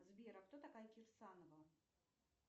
сбер а кто такая кирсанова